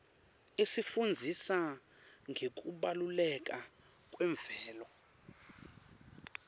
isifundzisa ngekubaluleka kwemvelo